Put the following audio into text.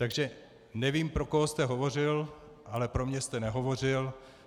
Takže nevím, pro koho jste hovořil, ale pro mě jste nehovořil.